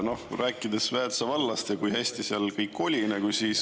Te rääkisite Väätsa vallast ja sellest, kui hästi seal kõik oli.